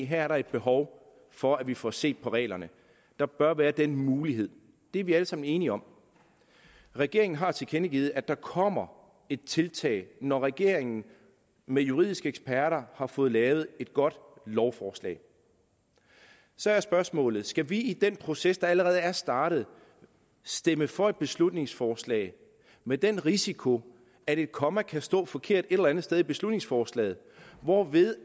her er der behov for at vi får set på reglerne der bør være den mulighed det er vi alle sammen enige om regeringen har tilkendegivet at der kommer et tiltag når regeringen med juridiske eksperter har fået lavet et godt lovforslag så er spørgsmålet skal vi i den proces der allerede er startet stemme for et beslutningsforslag med den risiko at et komma kan stå forkert et eller andet sted i beslutningsforslaget hvorved